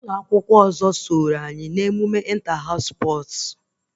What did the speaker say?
Ụlọ akwụkwọ nke ọzọ ahụ so anyị mee ịnta haụs spọs